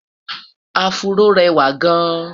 afro réwà gaan